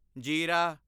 ਜੀਰਾ